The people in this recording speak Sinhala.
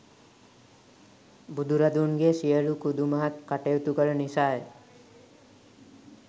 බුදුරදුන්ගේ සියලු කුදුමහත් කටයුතු කළ නිසා ය.